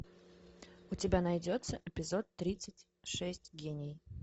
у тебя найдется эпизод тридцать шесть гений